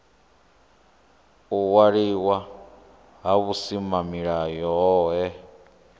u waliwa ha vhusimamilayo hohe